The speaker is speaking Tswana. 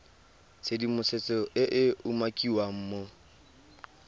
tshedimosetso e e umakiwang mo